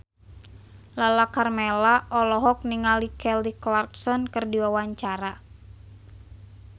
Lala Karmela olohok ningali Kelly Clarkson keur diwawancara